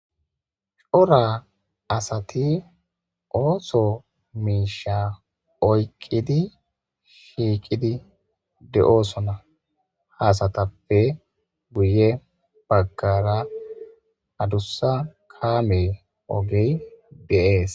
Coora asati ooththo mishsha oyiqidi shiqidi de"osona izetappe guye baggara adussa kamme ogey de"es